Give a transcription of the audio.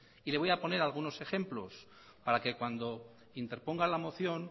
y le voy a poner algunos ejemplos para que cuando interponga la moción